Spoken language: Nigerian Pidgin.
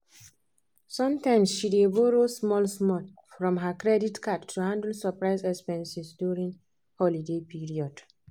sometimes she dey borrow small-small from her credit card to handle surprise expenses during holiday period.